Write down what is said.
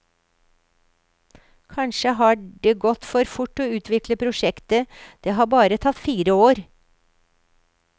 Kanskje har det gått for fort å utvikle prosjektet, det har bare tatt fire år.